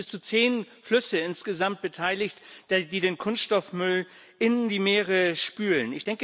Es sind bis zu zehn Flüsse insgesamt beteiligt, die den Kunststoffmüll in die Meere spülen.